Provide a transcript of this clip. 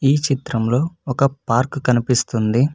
ఈ చిత్రంలో ఒక పార్కు కనిపిస్తుంది.